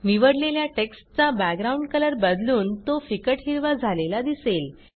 निवडलेल्या टेक्स्टचा background colour बदलून तो फिकट हिरवा झालेला दिसेल